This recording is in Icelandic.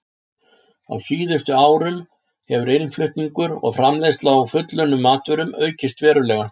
Á síðustu árum hefur innflutningur og framleiðsla á fullunnum matvörum aukist verulega.